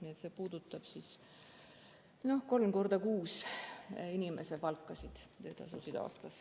Nii et see puudutab 3 x 6 inimese töötasusid aastas.